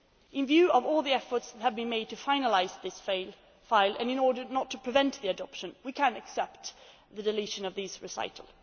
acquis. In view of all the efforts that have been made to finalise this file and in order not to prevent the adoption, we can accept the deletion of those recitals.